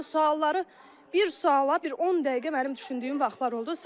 Sualları bir suala bir 10 dəqiqə mənim düşündüyüm vaxtlar oldu.